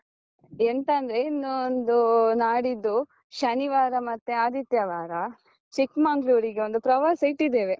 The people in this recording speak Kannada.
ಎಂತಂದ್ರೆ, ಇನ್ನೊಂದು ನಾಡಿದ್ದು ಶನಿವಾರ ಮತ್ತೆ ಆದಿತ್ಯವಾರ ಚಿಕ್ಮಂಗ್ಳೂರ್ಗೆ ಒಂದು ಪ್ರವಾಸ ಇಟ್ಟಿದ್ದೇವೆ.